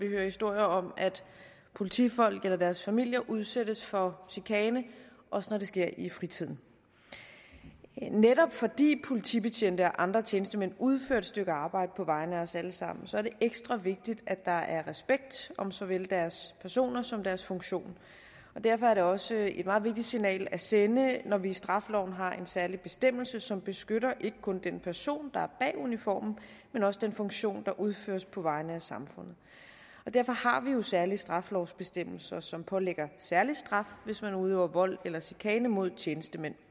hører historier om at politifolk eller deres familier udsættes for chikane også når det sker i fritiden netop fordi politibetjente og andre tjenestemænd udfører et stykke arbejde på vegne af os alle sammen er det ekstra vigtigt at der er respekt om såvel deres person som deres funktion og derfor er det også et meget vigtigt signal at sende når vi i straffeloven har en særlig bestemmelse som beskytter ikke kun den person der er bag uniformen men også den funktion der udføres på vegne af samfundet derfor har vi jo særlige straffelovsbestemmelser som pålægger særlig straf hvis man udøver vold eller chikane mod tjenestemænd